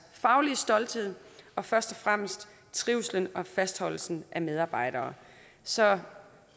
faglige stolthed og først og fremmest trivslen og fastholdelsen af medarbejdere så